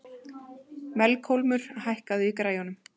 Melkólmur, hækkaðu í græjunum.